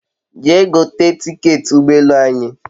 Jee gote tiketi ugbo elu anyi